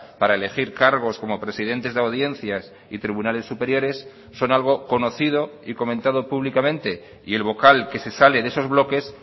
para elegir cargos como presidentes de audiencias y tribunales superiores son algo conocido y comentado públicamente y el vocal que se sale de esos bloques